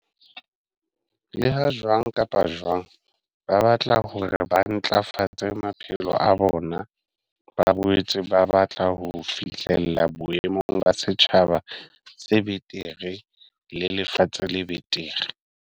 Leha jwang kapa jwang ba batla hore ba ntlafatse maphelo a bona, ba boetse ba batla ho fihlella boemong ba setjhaba se betere le lefatshe le betere.